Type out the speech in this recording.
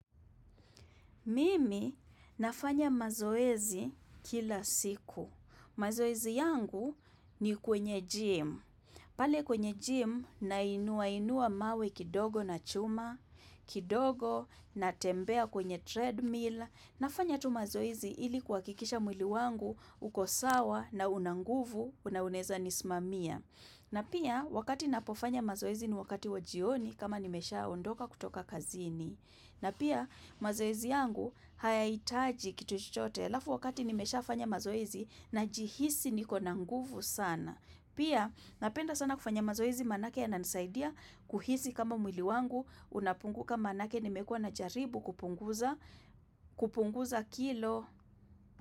Mimi nafanya mazoezi kila siku. Mazoezi yangu ni kwenye gym. Pale kwenye gym, nainua inua mawe kidogo na chuma, kidogo na tembea kwenye treadmill. Nafanya tu mazoezi ili kuhakikisha mwili wangu, uko sawa na una nguvu, na unaeza nisimamia. Na pia, wakati napofanya mazoezi ni wakati wajioni kama nimeshaondoka kutoka kazini. Na pia mazoezi yangu hayahitaji kitu chochote alafu wakati nimeshafanya mazoezi najihisi nikona nguvu sana. Pia napenda sana kufanya mazoezi maana ake yananisaidia kuhisi kama mwili wangu unapunguka maana ake nimekua na jaribu kupunguza kilo.